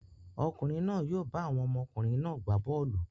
Ọkùnrin náà yóò bá àwọn ọmọkùnrin náà gbá bọ́ọ́lù.